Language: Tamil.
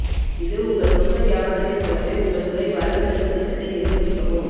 இது உங்கள் சொந்த வியாபாரத்தை போலவே உங்கள் துறை வரவு செலவு திட்டத்தை நிர்வகிக்கவும்